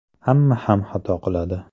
Hamma ham xato qiladi.